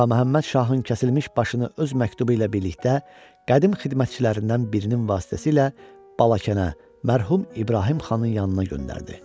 Ağa Məhəmməd Şahın kəsilmiş başını öz məktubu ilə birlikdə qədim xidmətçilərindən birinin vasitəsilə Balakənə, mərhum İbrahim Xanın yanına göndərdi.